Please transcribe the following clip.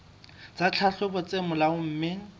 tsa tlhahlobo tse molaong mme